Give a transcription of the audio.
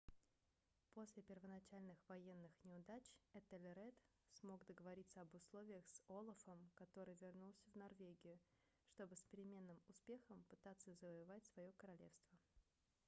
после первоначальных военных неудач этельред смог договориться об условиях с олафом который вернулся в норвегию чтобы с переменным успехом пытаться завоевать свое королевство